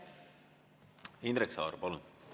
Indrek Saar, palun!